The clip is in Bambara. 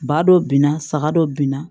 Ba dɔ binna saga dɔ bin na